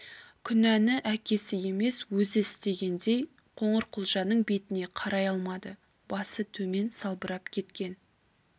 күнәні әкесі емес өзі істегендей қоңырқұлжаның бетіне қарай алмады басы төмен салбырап кеткен